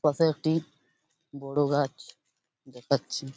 পাশে একটি বড়ো গাছ দেখাচ্ছি।